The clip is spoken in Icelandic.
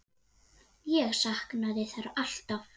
Ég saknaði þeirra alltaf.